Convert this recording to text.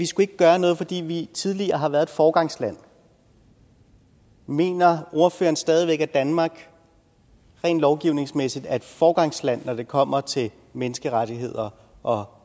skulle gøre noget fordi vi tidligere har været et foregangsland mener ordføreren stadig væk at danmark rent lovgivningsmæssigt er et foregangsland når det kommer til menneskerettigheder og